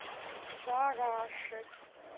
барашек